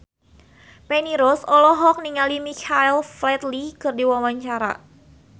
Feni Rose olohok ningali Michael Flatley keur diwawancara